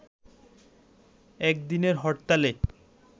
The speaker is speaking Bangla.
একদিনের হরতালে